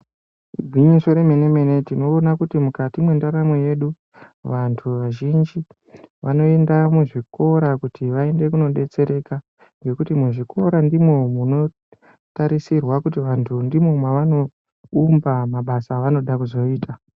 Igwinyiso remene mene tinoona kuti mukati mwendaramo yedu vanthu vazhinji vanoende muzvikora kuti vaende kunodetsereka ngekuti muzvikora ndimwona munotarisirwa kuti vanthu ndimwo mwavanoumba mabasa evanoda kuzoita.